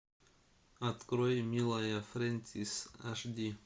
открой милая фрэнсис аш ди